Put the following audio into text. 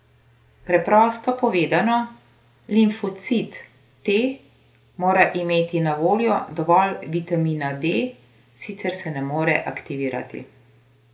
Preprosto povedano, limfocit T mora imeti na voljo dovolj vitamina D, sicer se ne more aktivirati.